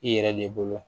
I yɛrɛ de bolo